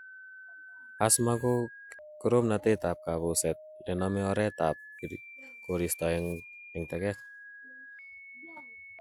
Asthma ko koromnatetab kambuset nenome oretab koristo eng' teket.